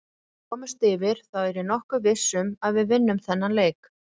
Ef við komumst yfir þá er ég nokkuð viss um að við vinnum þennan leik.